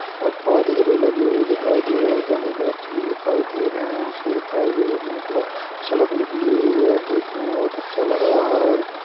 --और पौधे भी लगे हुए दिखाई दे रहे है बहुत वृक्ष भी दिखाई दे रहे है और सड़क निकली हुई है देखने में बहुत अच्छा लग रहा है।